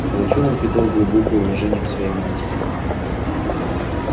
волчонок питал глубокое уважение к своей матери